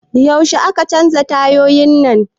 Yaushe aka canza tayoyin nan?